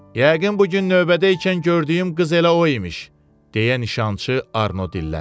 Yəqin bu gün növbədəykən gördüyüm qız elə o imiş, deyə nişançı Arno dilləndi.